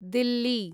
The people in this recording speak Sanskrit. दिल्ली